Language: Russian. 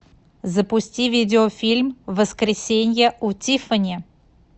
запусти видеофильм воскресенье у тиффани